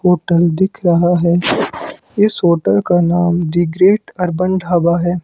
Hotel दिख रहा है इस होटल का नाम दी ग्रेट अर्बन ढाबा हैं।